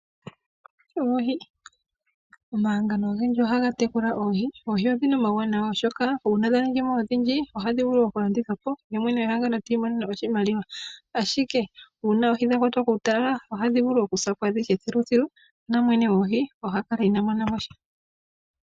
Omahangano ogendji ohaga tekula oohi. Oohi odhina omauwanawa oshoka, uuna dha ningi mo odhindji ohadhi vulu oku landithwa po, ye mwene gwehangano ta imonene mo oshimaliwa, ashike uuna oohi dha kwatwa kuutalala ohadhi vulu okusa po adhihe thiluthilu, na nwene goohi oha kala inaa monamosha.